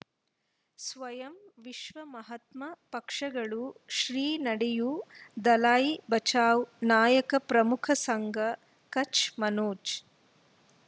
ಸ್ವಯಂ ವಿಶ್ವ ಮಹಾತ್ಮ ಪಕ್ಷಗಳು ಶ್ರೀ ನಡೆಯೂ ದಲೈ ಬಚೌ ನಾಯಕ ಪ್ರಮುಖ ಸಂಘ ಕಚ್ ಮನೋಜ್